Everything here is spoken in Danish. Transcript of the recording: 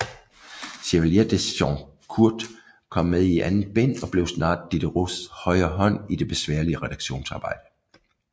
Chevalier de Jaucourt kom med i andet bind og blev snart Diderots højre hånd i det besværlige redaktionsarbejde